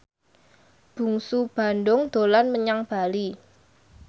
Bungsu Bandung dolan menyang Bali